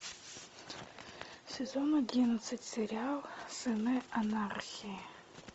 сезон одиннадцать сериал сыны анархии